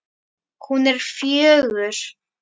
Hún er fjögur.